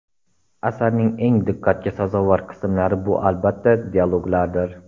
Asarning eng diqqatga sazovor qismlari bu albatta dialoglardir.